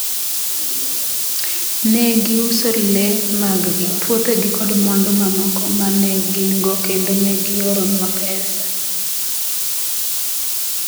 Ne giuso le maggi, puothegi kod mwandu mamoko ma ne gin-go kendo ne gioronwa pesa .